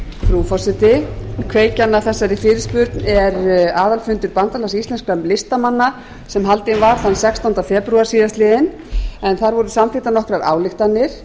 frú forseti kveikjan að þessari fyrirspurn er aðalfundur bandalags íslenskra listamanna sem haldinn var þann sextánda febrúar síðastliðinn en þar voru samþykktar nokkrar ályktanir